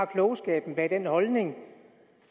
klogskaben bag den holdning